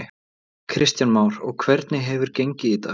Kristján Már: Og hvernig hefur gengið í dag?